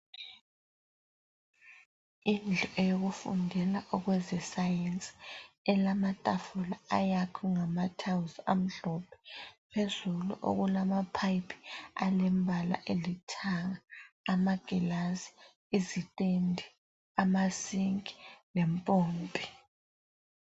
Indlu eyo kufundela okwezesayensi elama tafula ayakhwe ngama thayilizi amhlophe, phezulu okulama phayiphi alembala olithanga, amaglazi, izitende, amasinki lempompi.